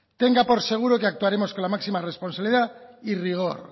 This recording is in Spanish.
tenga por seguro que actuaremos con la máxima responsabilidad y rigor